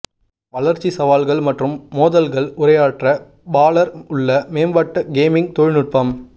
வளர்ச்சி சவால்கள் மற்றும் மோதல்கள் உரையாற்ற பாலர் உள்ள மேம்பட்ட கேமிங் தொழில்நுட்பம்